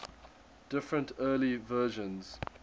different early versions